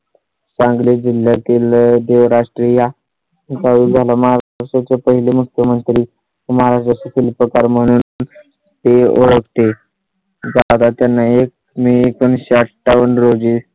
सांगली जिल्ह्यातील देवराष्ट्रे या गावी झाला. महाराष्ट्राचे पहिले मुख्यमंत्री तुम्हाला जसं तील प्रकार म्हणून ते ओळखले जातात. त्यांना एक मी एकोणीस शे अठ्ठावन्न रोजी